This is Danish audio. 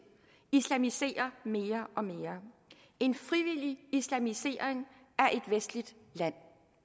islamiserer mere og mere en frivillig islamisering af et vestligt land